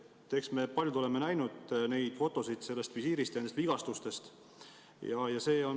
Eks me paljud oleme näinud fotosid sellest visiirist ja nendest vigastustest.